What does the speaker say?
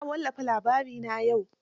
Za a wallafa labarina yau.